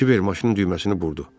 Kibir maşının düyməsini burdu.